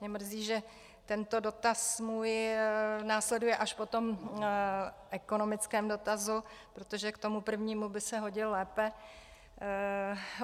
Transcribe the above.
Mě mrzí, že tento dotaz můj následuje až po tom ekonomickém dotazu, protože k tomu prvnímu by se hodil lépe.